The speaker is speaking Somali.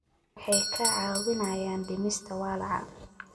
Waxay kaa caawinayaan dhimista walaaca.